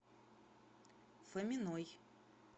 фоминой